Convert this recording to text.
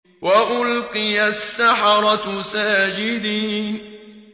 وَأُلْقِيَ السَّحَرَةُ سَاجِدِينَ